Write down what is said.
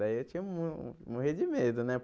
Daí eu tinha mu morri de medo, né?